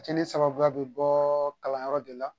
Kɛli sababuya bɛ bɔɔɔ kalanyɔrɔ de la